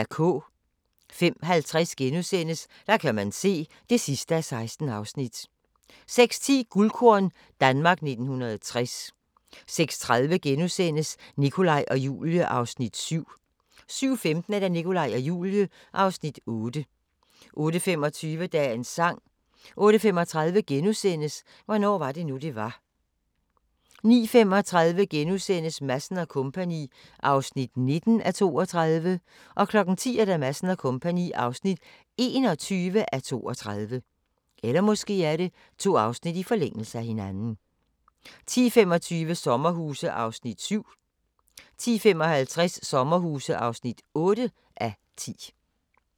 05:50: Der kan man se (16:16)* 06:10: Guldkorn - Danmark 1960 06:30: Nikolaj og Julie (Afs. 7)* 07:15: Nikolaj og Julie (Afs. 8) 08:25: Dagens sang 08:35: Hvornår var det nu det var * 09:35: Madsen & Co. (19:32)* 10:00: Madsen & Co. (21:32) 10:25: Sommerhuse (7:10) 10:55: Sommerhuse (8:10)